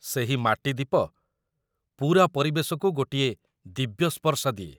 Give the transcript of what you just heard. ସେହି ମାଟି ଦୀପ ପୂରା ପରିବେଶକୁ ଗୋଟିଏ ଦିବ୍ୟ ସ୍ପର୍ଶ ଦିଏ ।